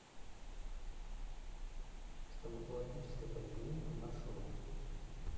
стоматологическая поликлиника маршрут